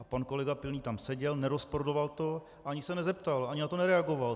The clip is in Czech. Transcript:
A pan kolega Pilný tam seděl, nerozporoval to, ani se nezeptal, ani na to nereagoval.